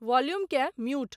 Volume केँ mute.